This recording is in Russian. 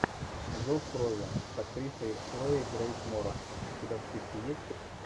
зов крови с актрисой хлоей грейс морец у тебя в списке есть